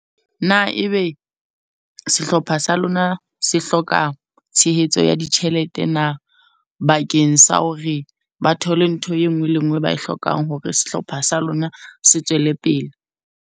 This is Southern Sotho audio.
Na ebe sehlopha sa lona se hloka tshehetso ya ditjhelete na? Bakeng sa hore ba thole ntho e nngwe le e nngwe e ba e hlokang, hore sehlopha sa lona se tswele pele.